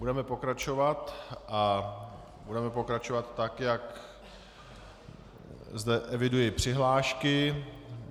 Budeme pokračovat a budeme pokračovat tak, jak zde eviduji přihlášky.